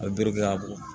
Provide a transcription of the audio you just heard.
A bɛri kɛ k'a bɔ